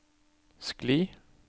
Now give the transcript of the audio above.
skli